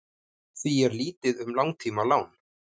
því er lítið um langtímalán